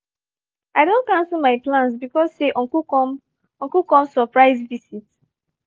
i don cancel my plans because say uncle come uncle come surprise visit